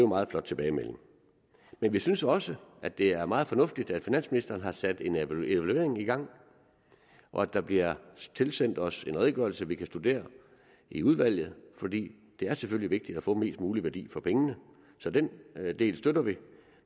meget flot tilbagemelding men vi synes også at det er meget fornuftigt at finansministeren har sat en evaluering i gang og at der bliver tilsendt os en redegørelse vi kan studere i udvalget for det er selvfølgelig vigtigt at få mest mulig værdi for pengene så den del støtter vi